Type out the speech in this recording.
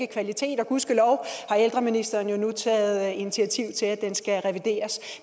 ikke kvalitet og gudskelov har ældreministeren jo nu taget initiativ til at den skal revideres